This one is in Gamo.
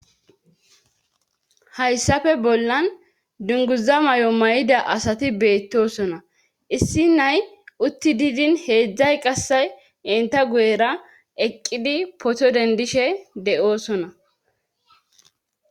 Hayssafe bollan dunguza may7o may7ida asati beettosona issi nay utti diidin heedzdzay qassey enta guyera eqqidi potho dendishe de7oosona